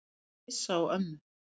Ég er alveg hissa á ömmu.